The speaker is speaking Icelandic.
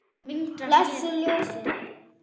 Blessuð ljósin.